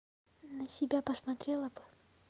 на себя посмотрела бы